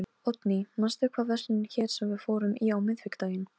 Lá á hnjánum ofan á endum og afgöngum á gólfinu.